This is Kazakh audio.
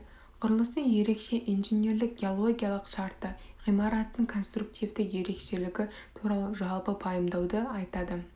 құрылыстың ерекше инженерлік геологиялық шарты ғимараттың конструктивті ерекшелігі туралы жалпы пайымдауды айтады